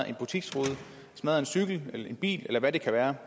en butiksrude en cykel en bil eller hvad det kan være